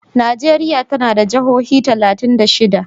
Najeriya tana da jihohi talatin da shida.